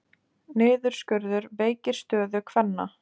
Niðurskurður veikir stöðu kvenna